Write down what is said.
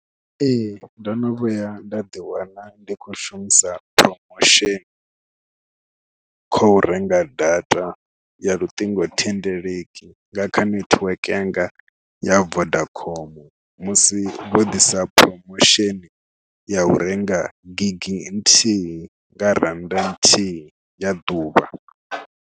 Ee ndo no vhuya nda ḓiwana ndi khou shumisa promotion khou renga data ya luṱingothendeleki nga kha netiweke yanga ya Vodacom musi vho ḓisa promotion ya u renga gigi nthihi nga rannda nthihi ya ḓuvha.